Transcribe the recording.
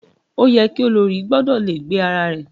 Ó yẹ ki olórí gbọ́dọ̀ le gbé ara rẹ̀.